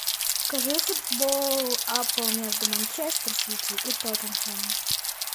покажи футбол апл между манчестер сити и тоттенхэмом